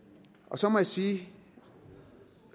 så må jeg sige